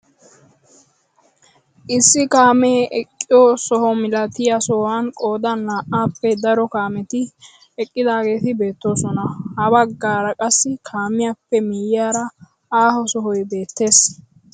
Issi kaame eqqiyoo soho milatiyaa sohuwaan qoodan naa"appe daro kaameti eqqidaageti beettoosona. ha baggaara qassi kaamiyaappe miyiyaara aaho sohoy beettees.